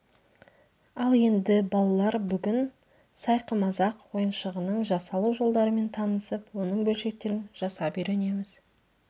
ал енді балалар бүгін сайқымазақ ойыншығының жасалу жолдарымен танысып оның бөлшектерін жасап үйренеміз